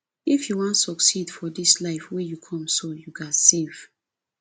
if you wan succeed for dis life wey you come so you ghas save